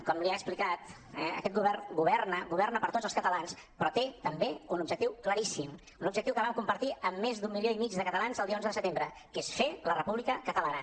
com li ha explicat eh aquest govern governa governa per a tots els catalans però té també un objectiu claríssim un objectiu que vam compartir amb més d’un milió i mig de catalans el dia onze de setembre que és fer la república catalana